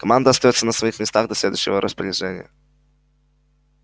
команда остаётся на своих местах до следующего распоряжения